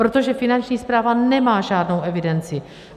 Protože Finanční správa nemá žádnou evidenci.